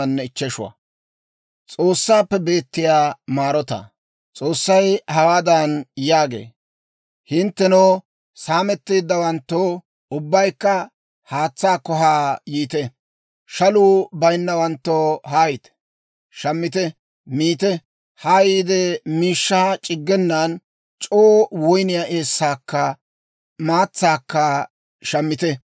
S'oossay hawaadan yaagee; «Hinttenoo saametteeddawanttoo, ubbaykka haatsaakko haa yiite; shaluu bayinnawanttoo, haayite. Shammite; miite. Haa yiide, miishshaa c'iggenan c'oo woyniyaa eessaakka maatsaakka shammite.